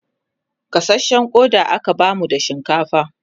gasashen Koda aka bamu da shinkafa